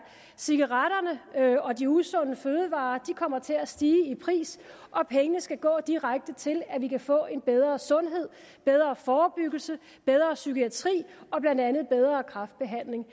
cigaretterne og de usunde fødevarer kommer til at stige i pris og pengene skal gå direkte til at vi kan få en bedre sundhed bedre forebyggelse bedre psykiatri og blandt andet bedre kræftbehandling